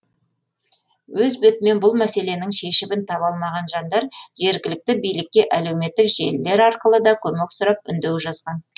өз бетімен бұл мәселенің шешімін таба алмаған жандар жергілікті билікке әлеуметтік желілер арқылы да көмек сұрап үндеу жазған